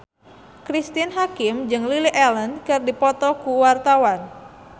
Cristine Hakim jeung Lily Allen keur dipoto ku wartawan